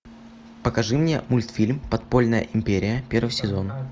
покажи мне мультфильм подпольная империя первый сезон